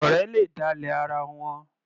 Ọ̀rẹ́ le dálẹ̀ ara wọn.